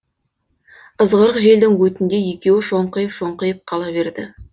ызғырық желдің өтінде екеуі шоңқиып шоңқиып қала берді